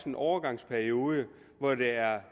en overgangsperiode hvor der er